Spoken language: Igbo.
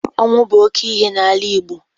Ọnwụ bụ oke ihe n'ala Igbo.